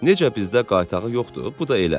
Necə bizdə qaytağı yoxdur, bu da elə.